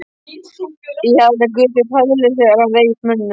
Ég held að guð sé hræðilegur þegar hann reiðist mönnunum.